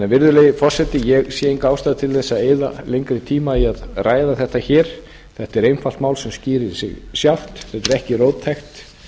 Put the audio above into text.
virðulegi forseti ég sé enga ástæðu til að eyða lengri tíma í að ræða þetta hér þetta er einfalt mál sem skýrir sig sjálft þetta er ekki róttækt